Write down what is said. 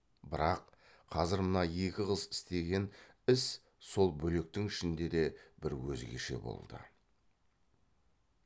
бірақ қазір мына екі қыз істеген іс сол бөлектің ішінде де бір өзгеше болды